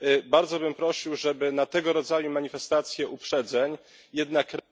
Bardzo bym prosił, żeby na tego rodzaju manifestacje uprzedzeń jednak reagować.